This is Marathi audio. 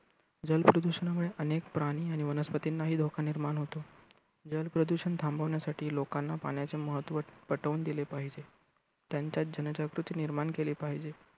जल प्रदूषणामुळे अनेक प्राणी आणि वनस्पतींनाही धोका निर्माण होतो. जल प्रदुषण थांबविण्यासाठी लोकांना पाण्याचे महत्त्व पटवून दिले पाहिजे. त्यांच्यात जन जागृती निर्माण केली पाहीजे.